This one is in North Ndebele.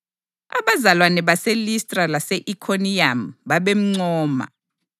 Abazalwane baseListra lase-Ikhoniyamu babemncoma.